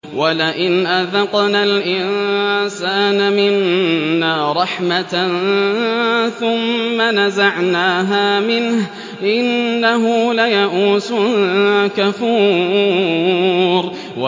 وَلَئِنْ أَذَقْنَا الْإِنسَانَ مِنَّا رَحْمَةً ثُمَّ نَزَعْنَاهَا مِنْهُ إِنَّهُ لَيَئُوسٌ كَفُورٌ